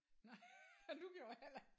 Nej du gjorde heller ikke